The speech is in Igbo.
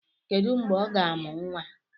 Kedu mgbè ọ ga-amu nwa?